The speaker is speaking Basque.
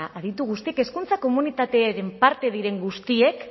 aditu guztiek hezkuntza komunitatearen parte diren guztiek